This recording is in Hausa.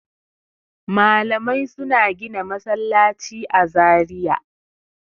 Malamai suna gina masallaci a Zariya.